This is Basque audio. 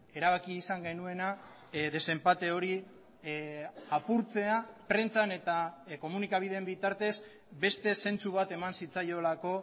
erabaki izan genuena desenpate hori apurtzea prentsan eta komunikabideen bitartez beste zentzu bat eman zitzaiolako